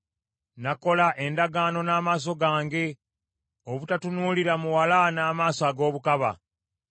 “Nakola endagaano n’amaaso gange; obutatunuulira muwala n’amaaso ag’obukaba.